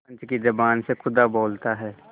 पंच की जबान से खुदा बोलता है